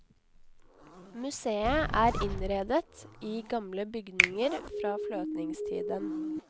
Museet er innredet i gamle bygninger fra fløtningstiden.